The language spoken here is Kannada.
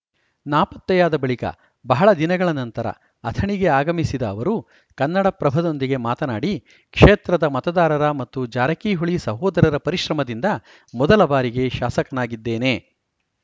ನಾಪತ್ತೆಯಾದ ಬಳಿಕ ಬಹಳ ದಿನಗಳ ನಂತರ ಅಥಣಿಗೆ ಆಗಮಿಸಿದ ಅವರು ಕನ್ನಡಪ್ರಭದೊಂದಿಗೆ ಮಾತನಾಡಿ ಕ್ಷೇತ್ರದ ಮತದಾರರ ಮತ್ತು ಜಾರಕಿಹೊಳಿ ಸಹೋದರರ ಪರಿಶ್ರಮದಿಂದ ಮೊದಲ ಬಾರಿಗೆ ಶಾಸಕನಾಗಿದ್ದೇನೆ